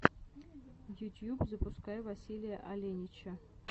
ютьюб запускай василия оленича